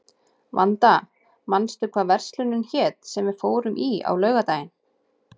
Vanda, manstu hvað verslunin hét sem við fórum í á laugardaginn?